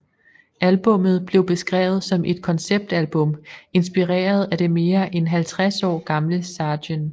Albummet blev beskrevet som et konceptalbum inspireret af det mere end 50 år gamle Sgt